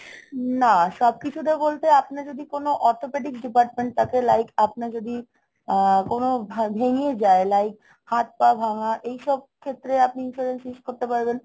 না সবকিছুতে বলতে আপনি যদি কোনো orthopedics department থাকে like আপনি যদি আহ কোনো ভা~ ভেঙে যায় like হাত পা ভাঙ্গা এইসব ক্ষেত্রে আপনি insurance use করতে পারবেন।